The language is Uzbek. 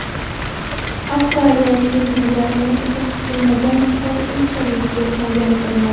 Avstraliya kengurulariga esa kutilmagan qor unchalik yoqmagan ko‘rinadi.